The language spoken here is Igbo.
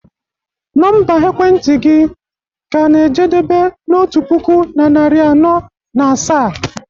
Nọmba ekwentị gị ka na-ejedebe na otu puku na narị anọ na asaa?